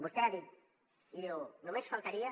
vostè ha dit i diu només faltaria